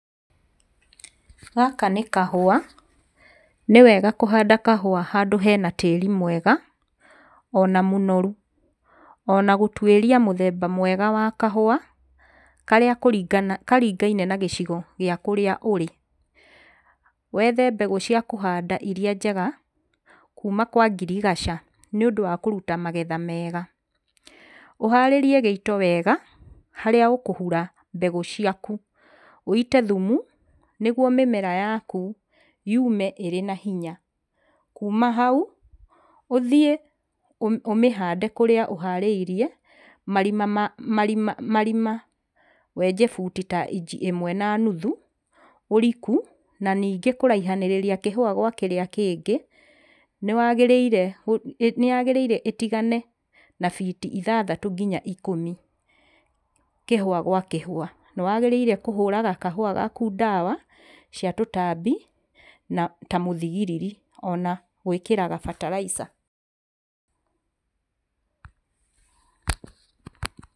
Gaka nĩ kahũa. Nĩwega kũhanda kahũa handũ hena tĩri mwega ona mũnorũ. Ona gũtũĩria mũthemba mwega wa kahũa karĩa kũringa, karingaine na gĩcigo gĩa kũrĩa ũrĩ. Wethe mbegũ cia kũhanda irĩa njega kũma kwa ngirigaca niũndũ wa kũrũta magetha mega, uharĩrie gĩito wega harĩa ũkũhũra mbegũ ciakũ, ũite thũmũ nĩgũo mĩmera yakũ yũme ĩrĩ na hinya. Kĩma haũ, ũthiĩ ũmĩ, ũmĩhande kũrĩa ũharĩirie marima ma marima ma wenje bũti ta ĩmwe na nũthũ ũrikũ na ningĩ kũraihanĩrĩria kĩhũa gwa kĩrĩa kĩngĩ nĩwagĩrĩire, nĩyagĩrĩire ũtigane na biti ithathatũ nginya biti ikũmi kĩhũa gwa kĩhũa. Nĩwagĩrĩire kũhũraga kahũa gakũ ndawa cia tũtambia na ta mũthigiriri ona gwĩkĩraga fertilizer.